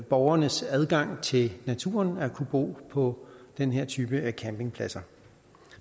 borgernes adgang til naturen at kunne bo på den her type af campingpladser